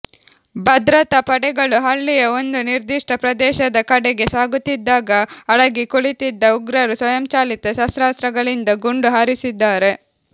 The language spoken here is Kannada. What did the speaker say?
ಭದ್ರತಾ ಪಡೆಗಳು ಹಳ್ಳಿಯ ಒಂದು ನಿರ್ದಿಷ್ಟ ಪ್ರದೇಶದ ಕಡೆಗೆ ಸಾಗುತ್ತಿದ್ದಾಗ ಅಡಗಿ ಕುಳಿತಿದ್ದ ಉಗ್ರರು ಸ್ವಯಂಚಾಲಿತ ಶಸ್ತ್ರಾಸ್ತ್ರಗಳಿಂದ ಗುಂಡು ಹಾರಿಸಿದ್ದಾರೆ